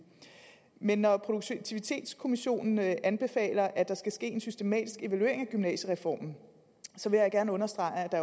men når produktivitetskommissionen anbefaler at der skal ske en systematisk evaluering af gymnasiereformen så vil jeg gerne understrege at der